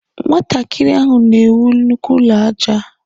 Nwatakịrị ahụ na ewu nnukwu ụlọ aja.